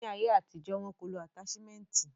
Ni ayé àtijọ́, wo ko lo ataṣimẹnti.